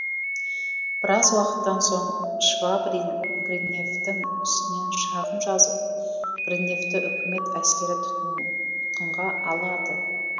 біраз уақыттан соң швабрин гриневтің үстінен шағым жазып гриневті үкімет әскері тұтқын ға алады